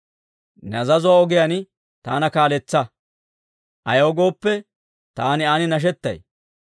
Ne azazuwaa ogiyaan taana kaaletsa; ayaw gooppe, taani an nashetay.